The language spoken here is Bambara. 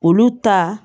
Olu ta